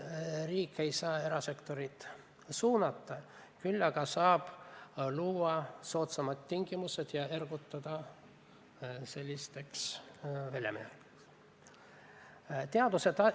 Riik ei saa erasektorit suunata, küll aga saab luua soodsamad tingimused ja ergutada selliseid väljaminekuid tegema.